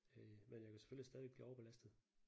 Øh men jeg kan selvfølgelig stadigvæk blive overbelastet